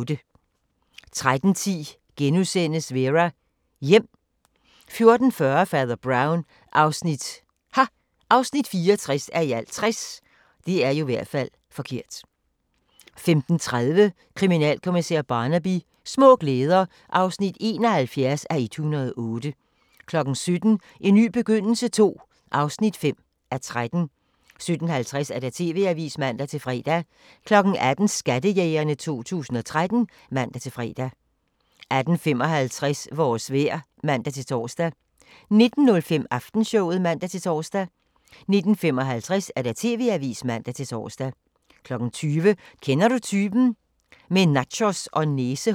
13:10: Vera: Hjem * 14:40: Fader Brown (64:60) 15:30: Kriminalkommissær Barnaby: Små glæder (71:108) 17:00: En ny begyndelse II (5:13) 17:50: TV-avisen (man-fre) 18:00: Skattejægerne 2013 (man-fre) 18:55: Vores vejr (man-tor) 19:05: Aftenshowet (man-tor) 19:55: TV-avisen (man-tor) 20:00: Kender du typen? – Med nachos og næsehår